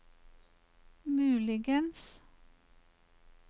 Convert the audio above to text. muligens